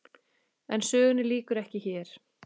En sögunni lýkur ekki hér.